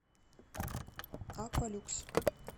аквалюкс